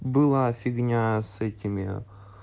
была фигня с этими